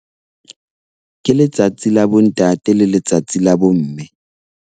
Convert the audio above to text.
Ke letsatsi la bontate le letsatsi la bomme.